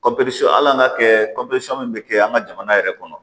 hali an ka kɛ min bɛ kɛ an ka jamana yɛrɛ kɔnɔ